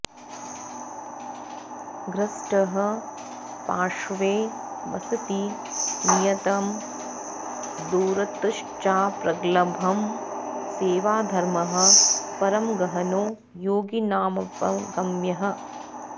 धृष्टः पार्श्वे वसति नियतं दूरतश्चाप्रगल्भः सेवाधर्मः परमगहनो योगिनामप्यगम्यः